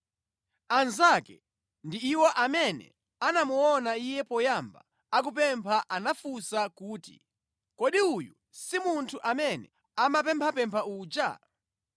Anzake ndi iwo amene anamuona iye poyamba akupempha anafunsa kuti, “Kodi uyu si munthu amene amapemphapempha uja?”